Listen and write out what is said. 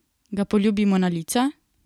Ga poljubimo na lica?